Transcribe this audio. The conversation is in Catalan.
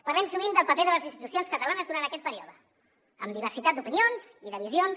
parlem sovint del paper de les institucions catalanes durant aquest període amb diversitat d’opinions i de visions